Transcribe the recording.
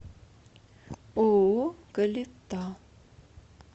ооо калита